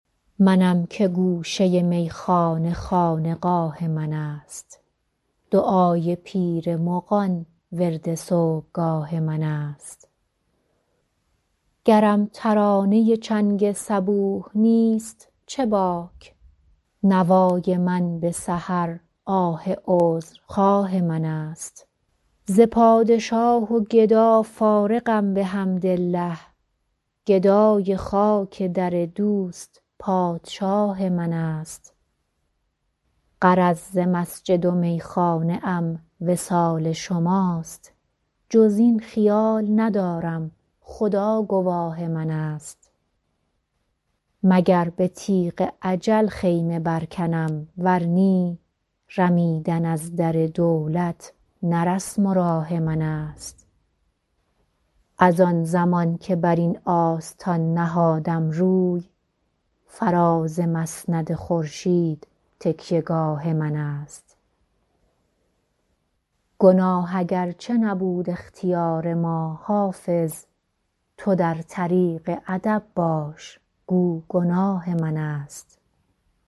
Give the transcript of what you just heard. منم که گوشه میخانه خانقاه من است دعای پیر مغان ورد صبحگاه من است گرم ترانه چنگ صبوح نیست چه باک نوای من به سحر آه عذرخواه من است ز پادشاه و گدا فارغم بحمدالله گدای خاک در دوست پادشاه من است غرض ز مسجد و میخانه ام وصال شماست جز این خیال ندارم خدا گواه من است مگر به تیغ اجل خیمه برکنم ور نی رمیدن از در دولت نه رسم و راه من است از آن زمان که بر این آستان نهادم روی فراز مسند خورشید تکیه گاه من است گناه اگرچه نبود اختیار ما حافظ تو در طریق ادب باش گو گناه من است